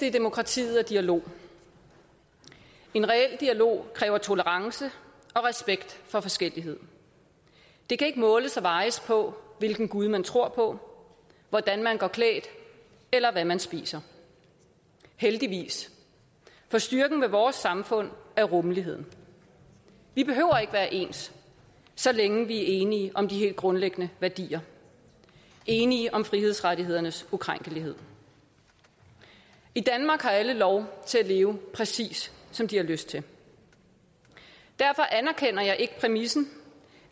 i demokratiet er dialog en reel dialog kræver tolerance og respekt for forskellighed det kan ikke måles og vejes på hvilken gud man tror på hvordan man går klædt eller hvad man spiser heldigvis for styrken ved vores samfund er rummeligheden vi behøver ikke være ens så længe vi er enige om de helt grundlæggende værdier enige om frihedsrettighedernes ukrænkelighed i danmark har alle lov til at leve præcis som de har lyst til derfor anerkender jeg ikke præmissen